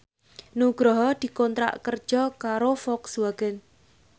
Nugroho dikontrak kerja karo Volkswagen